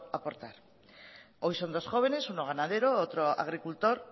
aportar hoy son dos jóvenes uno ganadero otro agricultor